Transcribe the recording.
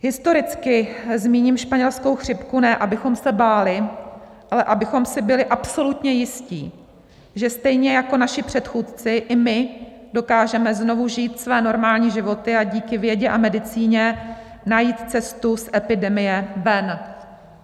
Historicky zmíním španělskou chřipku, ne abychom se báli, ale abychom si byli absolutně jistí, že stejně jako naši předchůdci, i my dokážeme znovu žít své normální životy a díky vědě a medicíně najít cestu z epidemie ven.